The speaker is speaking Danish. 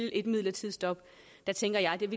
at et midlertidigt stop